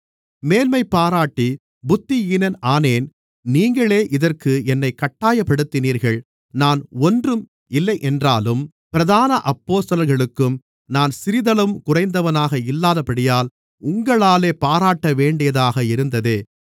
மேன்மைபாராட்டி புத்தியீனன் ஆனேன் நீங்களே இதற்கு என்னைக் கட்டாயப்படுத்தினீர்கள் நான் ஒன்றுமில்லை என்றாலும் பிரதான அப்போஸ்தலர்களுக்கும் நான் சிறிதளவும் குறைந்தவனாக இல்லாதபடியால் உங்களாலே பாராட்டப்பட வேண்டியதாக இருந்ததே